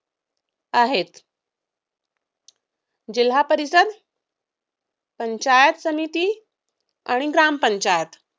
आहेत. जिल्हापरिषद पंचायत समिती आणि ग्रामपंचायत